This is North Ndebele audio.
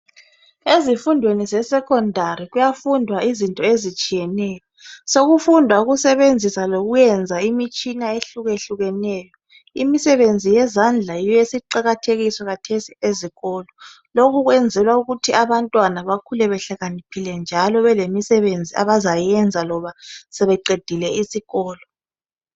Ezifundweni zesecondary kuyafundwa izinto ezitshiyeneyo sokufundwa ukusebenzisa lokuyenza imitshina ehluke hlukeneyo imisebenzi yezandla yiyo esiqakathekiswa kathesi ezikolo lokhu kwenzelwa ukuthi abantwana bakhule behlakaniphile njalo belemisebenzi abazayenza loba sebeqedile isikolo.